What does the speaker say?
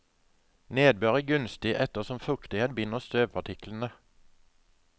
Nedbør er gunstig, ettersom fuktighet binder støvpartiklene.